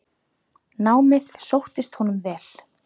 Námið sóttist honum vel.